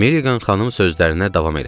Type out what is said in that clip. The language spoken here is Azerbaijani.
Milliqan xanım sözlərinə davam elədi.